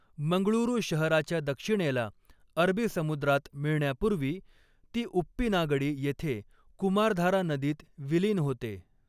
मंगळुरू शहराच्या दक्षिणेला अरबी समुद्रात मिळण्यापूर्वी ती उप्पिनागडी येथे कुमारधारा नदीत विलीन होते.